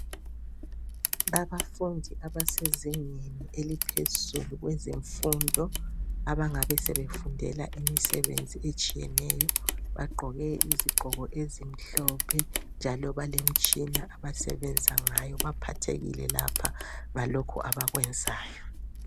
Abafundi abasezingeni eliphezulu kwezemfundo .Abangabe sebefundela imisebenzi etshiyeneyo . Bagqoke izigqoko ezimhlophe njalo balemitshina abasebenza ngayo .Baphathekile lapha ngalokho abakwenzayo.